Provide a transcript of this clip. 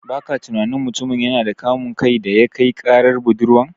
Baka tunani mutumin yana da kamun kai daya kai karar budurwan?